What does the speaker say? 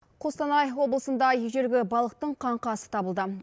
қостанай облысында ежелгі балықтың қаңқасы табылды